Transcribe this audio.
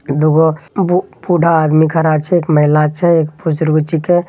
दुगो बू-बूढ़ा आदमी खड़ा छे एक महिला छे एक बुजुर्ग छीके --